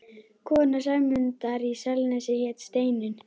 Kona Sæmundar í Selnesi hét Steinunn.